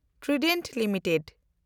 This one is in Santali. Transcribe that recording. Trident limited